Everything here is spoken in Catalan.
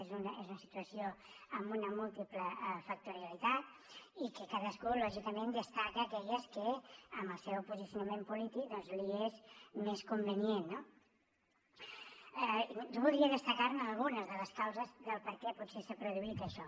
és una situació amb una múltiple factorialitat i que cadascú lògicament destaca aquelles que amb el seu posicionament polític doncs li és més convenient no jo voldria destacar ne algunes de les causes del perquè potser s’ha produït això